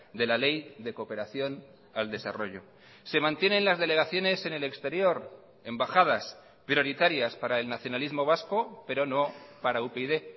de la ley de cooperación al desarrollo se mantienen las delegaciones en el exterior embajadas prioritarias para el nacionalismo vasco pero no para upyd